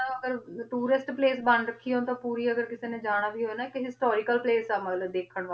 ਆ ਅਗਰ tourist place ਬਣ ਰਾਖੀ ਆ ਪੋਰੀ ਅਗਰ ਕਿਸੇ ਨੇ ਜਾਣਾ ਵੀ ਹੋਵੀ ਨਾ ਕੇ ਹਿਸ੍ਟੋਰਿਕਲ ਪ੍ਲਾਕੇ ਆ ਮਤਲਬ ਦੇਖਣ ਵਾਸ੍ਟੀ